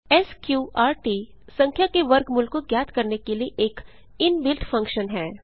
स्कॉर्ट संख्या के वर्गमूल को ज्ञात करने के लिए एक इनबिल्ट फंक्शन है